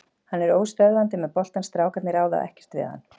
Hann er óstöðvandi með boltann, strákarnir ráða ekkert við hann.